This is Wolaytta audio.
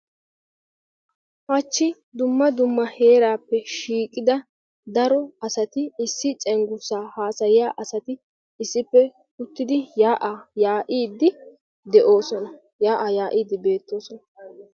Haachchi dumma dumma heeraappe shiiqqida daro asati issi cenggurssaa hasayiyaa asati issippe uttidi yaa'aa yaa'iidi beettoosona.